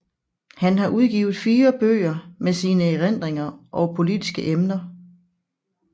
Han har udgivet fire bøger med sine erindringer og politiske emner